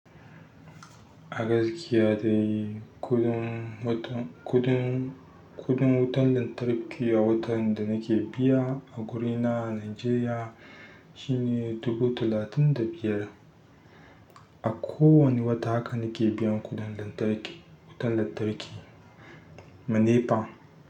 Agazkiya dai, kuɗin wutan, kuɗin, kuɗin wutan lantarki a watan da nake biya a guri na a Najeriya shi ne dubu talatin da biyar. A kowane wata haka nake biyan kuɗin lantarki, wutar lantarki, ma nepa.